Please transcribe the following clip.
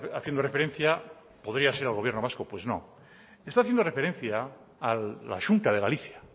haciendo referencia podría ser al gobierno vasco pues no está haciendo referencia a la xunta de galicia